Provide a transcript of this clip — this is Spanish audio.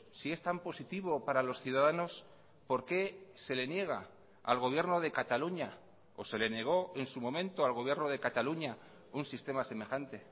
si es tan positivo para los ciudadanos por qué se le niega al gobierno de cataluña o se le negó en su momento al gobierno de cataluña un sistema semejante